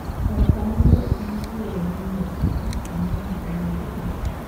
Erokamano ok nyis wuoro gi miyo kende to ne nyithindo bende.